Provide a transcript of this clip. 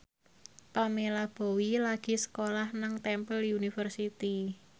Pamela Bowie lagi sekolah nang Temple University